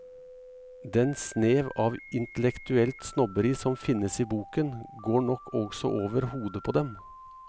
Den snev av intellektuelt snobberi som finnes i boken, går nok også over hodet på dem.